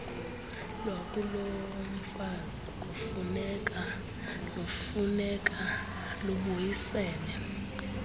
lwakulomfazi kunokufuneka lubuyisele